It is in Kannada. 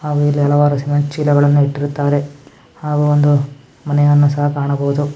ಹಾಗು ಇಲ್ಲಿ ಹಲವಾರು ಜನ ಚೀಲ ಗಳು ಇಟ್ಟಿರುತ್ತಾರೆ ಹಾಗು ಒಂದು ಮನೆಯನ್ನು ಸಹ ಕಾಣಬಹುದು --